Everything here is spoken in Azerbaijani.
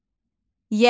Yəhər.